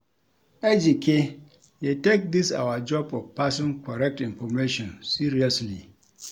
Ejike dey take dis our job of passing correct information seriously